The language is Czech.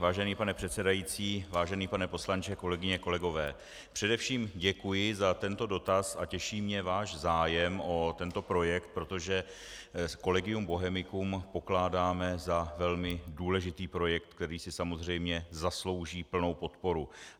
Vážený pane předsedající, vážený pane poslanče, kolegyně, kolegové, především děkuji za tento dotaz a těší mě váš zájem o tento projekt, protože Collegium Bohemicum pokládáme za velmi důležitý projekt, který si samozřejmě zaslouží plnou podporu.